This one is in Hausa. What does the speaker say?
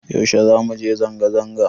Yaushe zamu je zanga-zanga?